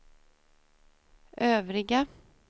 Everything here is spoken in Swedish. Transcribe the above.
övriga